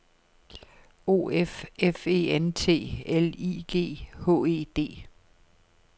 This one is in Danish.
O F F E N T L I G H E D